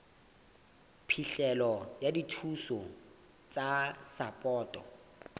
phihlelo ya dithuso tsa sapoto